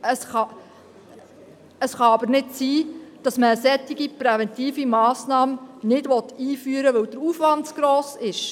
Es kann aber nicht sein, dass man eine solche präventive Massnahme nicht einführen will, weil der Aufwand zu gross ist.